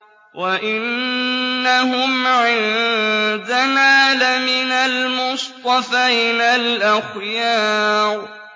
وَإِنَّهُمْ عِندَنَا لَمِنَ الْمُصْطَفَيْنَ الْأَخْيَارِ